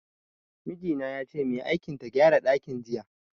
Miji na yace mai aikin ta gyara dakin jiya.